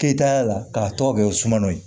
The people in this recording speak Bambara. Keyitaya la k'a tɔgɔ kɛ sumano ye